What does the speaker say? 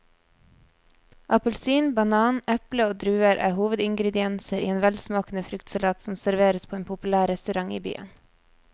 Appelsin, banan, eple og druer er hovedingredienser i en velsmakende fruktsalat som serveres på en populær restaurant i byen.